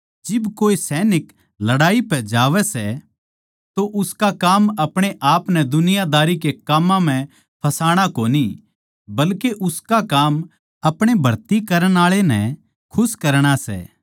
जिब कोए सैनिक लड़ाई पै जावै सै तो उसका काम अपणे आपनै दुनियादारी के काम्मां म्ह फसाणा कोनी बल्के उसका काम अपणे भर्ती करण आळै नै खुश करणा सै